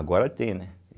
Agora tem, né?